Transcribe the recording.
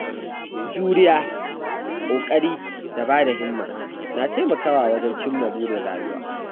Juriya, ƙoƙari da ba da himma na taimakawa wajen cimma burin rayuwa.